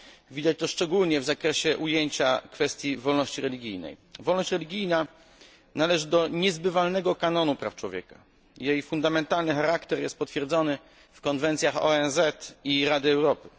Widać to szczególnie w zakresie ujęcia kwestii wolności religijnej. Wolność religijna należy do niezbywalnego kanonu praw człowieka, jej fundamentalny charakter jest potwierdzony w konwencjach ONZ i Rady Europy.